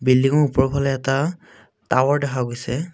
বিল্ডিঙৰ ওপৰফালে এটা টাৱাৰ দেখা গৈছে।